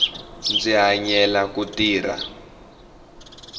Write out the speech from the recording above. ndzi hanyela ku tirha